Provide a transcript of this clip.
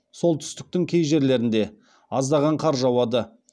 солтүстіктің кей жерлерінде аздаған қар жауады